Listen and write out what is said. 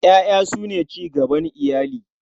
Ƴaƴa su ne cigaban iyali.